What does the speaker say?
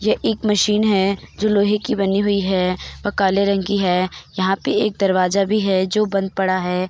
यह एक मशीन है जो लोहे की बनी हुई है और काले रंग की है| यहाँ पे (पर) एक दरवाज़ा भी है जो बंद पड़ा है।